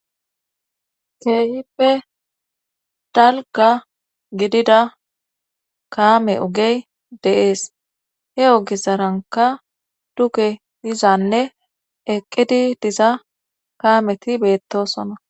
Keehippe dalga gidida kaame ugey deees he'o gizaranka duke dizanne eqqidi diza kaameti beettosona.